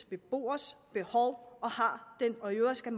beboers behov og i øvrigt skal